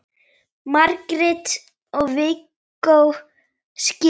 Margrét og Viggó skildu.